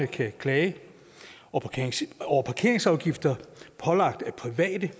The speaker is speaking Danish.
kan klage over parkeringsafgifter pålagt af private